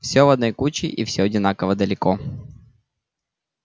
всё в одной куче и всё одинаково далеко